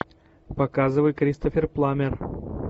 показывай кристофер пламмер